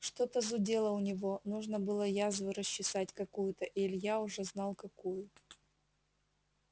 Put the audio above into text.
что-то зудело у него нужно было язву расчесать какую-то и илья уже знал какую